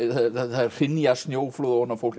það hrynja snjóflóð ofan á fólk